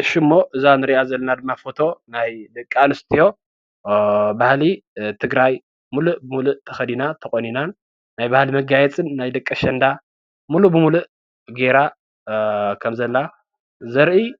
እዚ ምስሊ ቆልዓ ኣሸንዳ፣ ዓይኒ ዋር